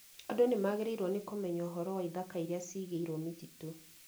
Andũ nĩ magĩrĩirwo nĩ kũmenya ũhoro wa ithaka iria ciigĩirwo mĩtitũ